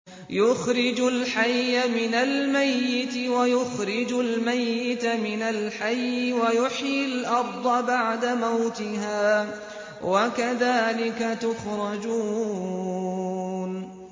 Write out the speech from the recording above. يُخْرِجُ الْحَيَّ مِنَ الْمَيِّتِ وَيُخْرِجُ الْمَيِّتَ مِنَ الْحَيِّ وَيُحْيِي الْأَرْضَ بَعْدَ مَوْتِهَا ۚ وَكَذَٰلِكَ تُخْرَجُونَ